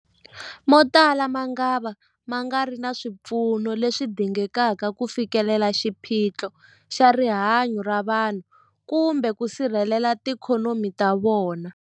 Motala mangava ma nga ri na swipfuno leswi dingekaka ku fikelela xiphiqo xa rihanyu ra vanhu kumbe ku sirhelela tiikhonomi ta vona.